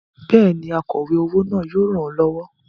Bẹ́ẹ̀ni, akọ̀we owó náà yóò ràn ọ́ lọ́wọ́.